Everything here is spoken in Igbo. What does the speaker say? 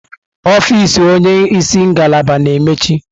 Ọfịz onye isi ngalaba na-emechi.